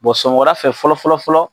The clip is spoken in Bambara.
sɔgɔmada fɛ fɔlɔfɔlɔfɔlɔ.